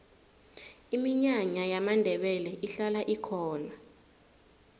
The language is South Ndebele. iminyanya yamandebele ihlala ikhona